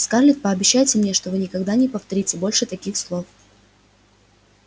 скарлетт пообещайте мне что вы никогда не повторите больше таких слов